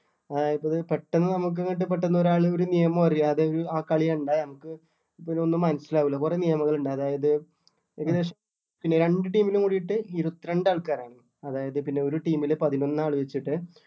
അതായത് ഇപ്പൊ അത് പെട്ടന്ന് നമുക്ക് അങ്ങോട്ട് പെട്ടന്ന് ഒരാള് ഒരു നിയമവും അറിയാതെ ഈ ആ കളി കണ്ടാ നമുക്ക് ഇപ്പൊ അതൊന്നും മനസ്സിലാവൂല്ല കൊറേ നിയമങ്ങൾ ഇണ്ട് അതായത് ഏകദേശം രണ്ട് team നും കൂടീട്ട് ഇരുപത്തിരണ്ട് ആൾക്കാരാണ് അതായത് പിന്നെ ഒരു team ല് പതിനൊന്ന് ആള് വെച്ചിട്ട്